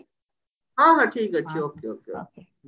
ହଁ ହଁ ଠିକ ଅଛି